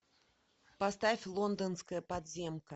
поставь лондонская подземка